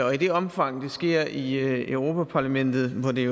og i det omfang det sker i europa parlamentet hvor det